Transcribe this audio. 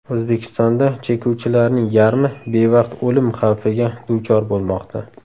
O‘zbekistonda chekuvchilarning yarmi bevaqt o‘lim xavfiga duchor bo‘lmoqda.